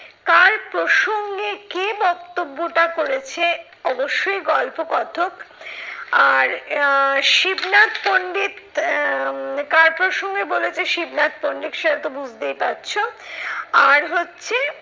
কার প্রসঙ্গে কে বক্তব্যটা করেছে অবশ্যই গল্প কথক। আর আহ শিবনাথ পন্ডিত আহ কার প্রসঙ্গে বলেছে শিবনাথ পন্ডিত সেটা তো বুঝতেই পারছো। আর হচ্ছে